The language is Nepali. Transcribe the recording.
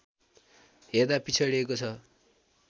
हेर्दा पिछडिएको छ